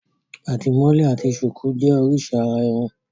Àdìmọ́lẹ̀ àti ṣùkú jẹ́ oríṣi àrà-irun.